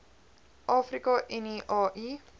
afrika unie au